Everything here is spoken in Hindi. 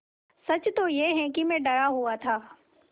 सच तो यह है कि मैं डरा हुआ था